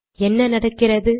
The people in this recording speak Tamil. என்ன நடக்கிறது